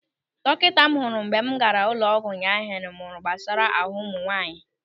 Dọkịta m hụrụ mgbe m gaara ụlọ ọgwụ ụnyaahụ mụrụ gbasara ahụ ụmụ nwaanyị.